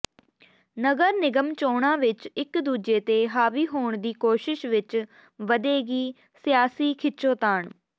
ਨਗਰ ਨਿਗਮ ਚੋਣਾਂ ਵਿੱਚ ਇੱਕ ਦੂਜੇ ਤੇ ਹਾਵੀ ਹੋਣ ਦੀ ਕੋਸ਼ਿਸ਼ ਵਿੱਚ ਵਧੇਗੀ ਸਿਆਸੀ ਖਿੱਚੋਤਾਣ